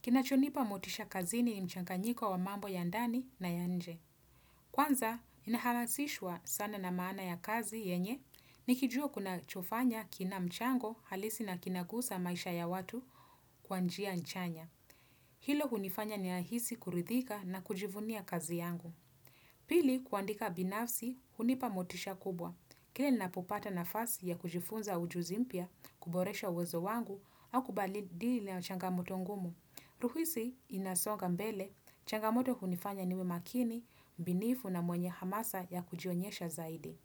Kinachonipa motisha kazini ni mchanganyiko wa mambo ya ndani na ya nje. Kwanza, inahalasishwa sana na maana ya kazi yenye nikijua kunachofanya kina mchango halisi na kinagusa maisha ya watu kwanjia nchanya. Hilo hunifanya ninahisi kuridhika na kujivunia kazi yangu. Pili, kuandika binafsi, hunipa motisha kubwa. Kila ninapopata nafasi ya kujifunza ujuzi mpya, kuboresha uwezo wangu, au kubadili changamoto ngumu. Ruhisi inasonga mbele, changamoto hunifanya niwe makini, binifu na mwenye hamasa ya kujionyesha zaidi.